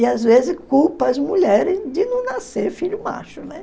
E às vezes culpa as mulheres de não nascer filho macho, né?